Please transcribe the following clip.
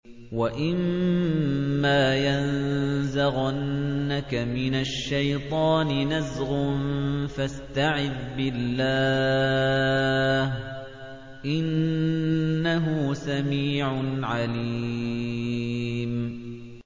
وَإِمَّا يَنزَغَنَّكَ مِنَ الشَّيْطَانِ نَزْغٌ فَاسْتَعِذْ بِاللَّهِ ۚ إِنَّهُ سَمِيعٌ عَلِيمٌ